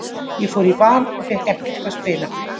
Ég fór í Val og fékk ekkert að spila.